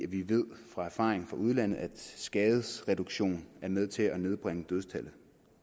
vi ved af erfaring fra udlandet at skadesreduktion er med til at nedbringe dødstallet